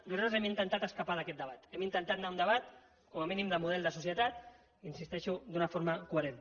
nosaltres hem intentat escapar d’aquest debat hem intentat anar a un debat com a mínim de model de societat hi insisteixo d’una forma coherent